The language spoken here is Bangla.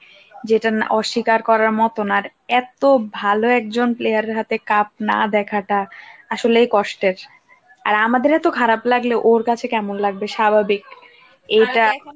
যেটা অস্বীকার করার মত না আর এত ভাল একজন player এর হাতে cup না দেখাটা, আসলেই কষ্টের আর আমাদের এত খারাপ লাগলেও, ওর কাছে কেমন লাগবে স্বাভাবিক, এটা